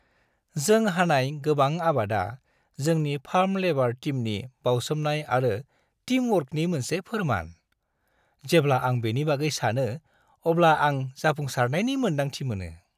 जों हानाय गोबां आबादा जोंनि फार्म लेबार टीमनि बावसोमनाय आरो टीमवर्कनि मोनसे फोरमान। जेब्ला आं बेनि बागै सानो अब्ला आं जाफुंसारनायनि मोन्दांथि मोनो।